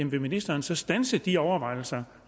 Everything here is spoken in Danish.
vil ministeren så standse de overvejelser